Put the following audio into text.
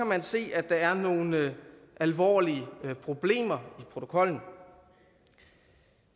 man se at der er nogle alvorlige problemer i protokollen